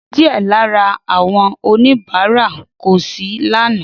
Díẹ̀ lára àwọn oníbàárà kò sí lánàá.